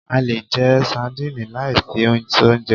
A lè jẹ sandínì lai fi soúnjẹ